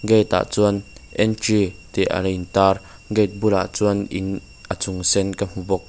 gate ah chuan entry tih lo in tar gate bulah chuan in a chung sen ka hmu bawk.